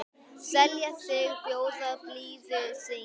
selja sig, bjóða blíðu sínu